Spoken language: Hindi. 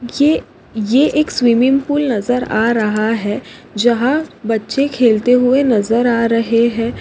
ये ये एक स्विमिंग पूल नजर आरहा है जहा बच्चे खेलते हुये नजर आ रहे है।